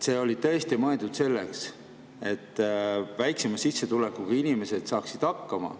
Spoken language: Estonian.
See oli tõesti mõeldud selleks, et väiksema sissetulekuga inimesed saaksid hakkama.